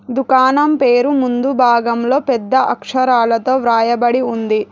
దుకాణం పేరు ముందు భాగంలో పెద్ద అక్షరాలతో వ్రాయబడి ఉంది.